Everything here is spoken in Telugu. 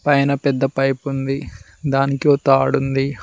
పైన పెద్ద పైప్ ఉంది దానికి ఒ తాడు ఉంది.